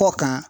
Kɔ kan